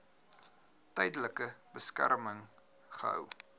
tydelike beskerming gehou